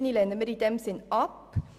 Planungserklärung 7 lehnen wir ab.